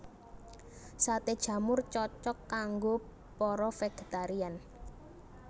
Saté jamur cocok kanggo para végétarian